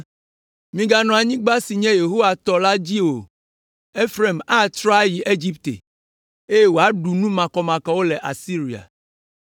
Miaganɔ anyigba si nye Yehowa tɔ la dzi o, Efraim atrɔ ayi Egipte, eye woaɖu nu makɔmakɔwo le Asiria.